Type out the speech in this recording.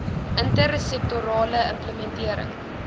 inter sektorale implementering